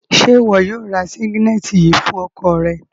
Ṣe iwọ yóò rá sínǵílẹ̀tì yìí fún ọkọ̀ rẹ?